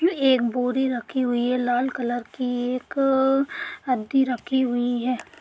एक बोरी रखी हुई है लाल कलर की। एक रदी रखी हुई है।